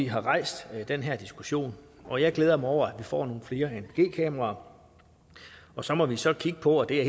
har rejst den her diskussion og jeg glæder mig over at får nogle flere anpg kameraer og så må vi så kigge på og det er